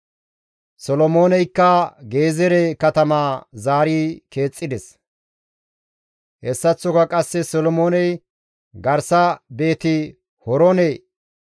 Solomooneykka Gezeere katamaa zaari keexxides. Hessaththoka qasse Solomooney garsa Beeti-Horoone,